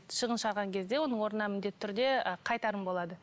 шығын шығарған кезде оның орнына міндетті түрде і қайтарым болады